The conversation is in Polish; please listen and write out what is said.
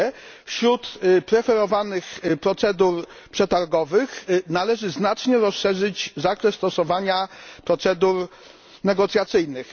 Po drugie, wśród preferowanych procedur przetargowych należy znacznie rozszerzyć zakres stosowania procedur negocjacyjnych.